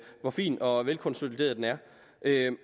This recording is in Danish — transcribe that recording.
hvor fin og velkonsolideret den er